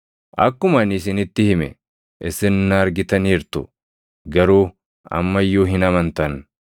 Akkuma ani isinitti hime isin na argitaniirtu; garuu amma iyyuu hin amantan.